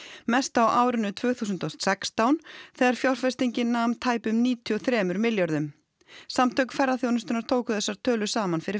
mest á árinu tvö þúsund og sextán þegar fjárfestingin nam tæpum níutíu og þremur milljörðum samtök ferðaþjónustunnar tóku þessar tölur saman fyrir